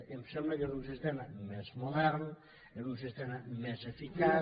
em sembla que és un sistema més modern és un sistema més eficaç